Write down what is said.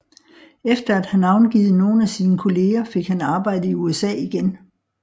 Efter at have navngivet nogle af sine kolleger fik han arbejde i USA igen